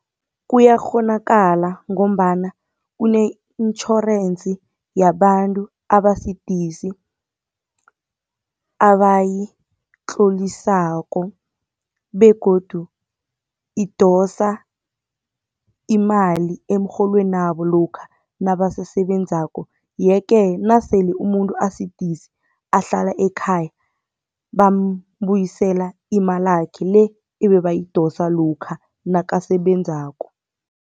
Kuyakghonakala ngombana kune insurance yabantu abasidisi abayitlolisako begodu idosa imali emrholweni wabo lokha nabasasebenzako. Ye-ke nasele umuntu asidisi ahlala ekhaya, bambuyisela imalakhe le ebebayidosa lokha nakasebenzako.